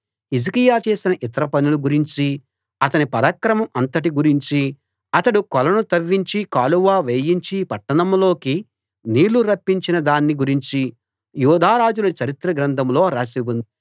హిజ్కియా చేసిన ఇతర పనులు గురించీ అతని పరాక్రమం అంతటి గురించీ అతడు కొలను తవ్వించి కాలువ వేయించి పట్టణంలోకి నీళ్లు రప్పించిన దాన్ని గురించీ యూదారాజుల చరిత్ర గ్రంథంలో రాసి ఉంది